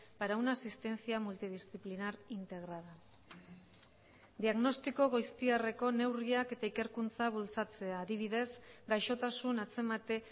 para una asistencia multidisciplinar integrada diagnostiko goiztiarreko neurriak eta ikerkuntza bultzatzea adibidez gaixotasun atzemate